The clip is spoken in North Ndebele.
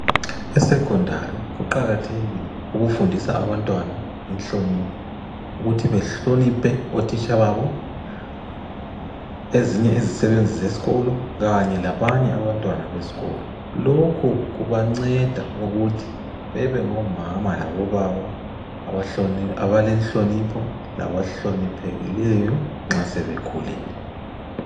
ESecondary kuqakathekile ukufundisa abantwana inhlonipho. Ukuthi bahloniphe otitsha babo. Ezinye izisebenzi zeskolo kanye labanye abantwana beskolo. Lokhu kubanceda ukuthi bebe ngo mama labo baba abalenhlonipho laba hloniphekileyo nxa sebekhulile.